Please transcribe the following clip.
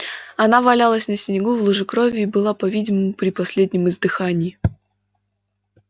она валялась на снегу в луже крови и была по видимому при последнем издыхании